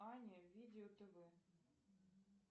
аня видео тв